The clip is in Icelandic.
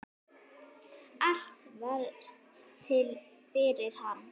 Allt varð til fyrir hann.